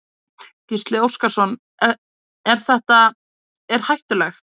Gísli Óskarsson: Er þetta er hættulegt?